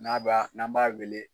N'a b'a n'an b'a wele